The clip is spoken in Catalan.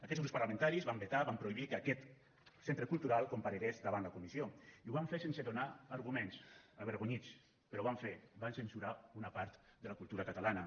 aquests grups parlamentaris van vetar van prohibir que aquest centre cultural comparegués davant la comissió i ho van fer sense donar arguments avergonyits però ho van fer van censurar una part de la cultura catalana